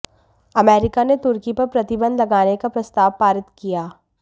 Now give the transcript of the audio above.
America ने तुर्की पर प्रतिबंध लगाने का प्रस्ताव पारित किया